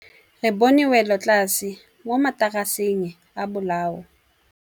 Re bone wêlôtlasê mo mataraseng a bolaô.